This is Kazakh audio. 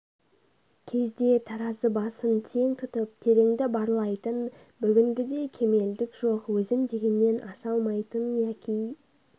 кезде таразы басын тең тұтып тереңді барлайтын бүгінгідей кемелдік жоқ өзім дегеннен аса алмайтын яки